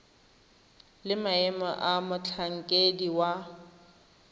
le maemo a motlhankedi wa